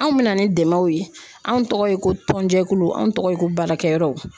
Anw mɛna ni dɛmɛw ye anw tɔgɔ ye ko tɔnjɛkulu anw tɔgɔ ye ko baarakɛyɔrɔ.